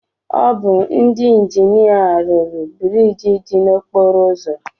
Ọ bụ ndị injinia rụrụ biriiji dị n'okporo ụzọ